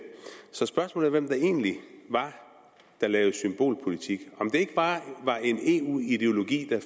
så spørgsmålet er hvem det egentlig var der lavede symbolpolitik om det ikke bare var en eu ideologi det